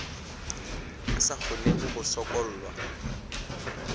a sa kgonego go sokollwa